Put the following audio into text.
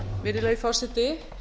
virðulegi forseti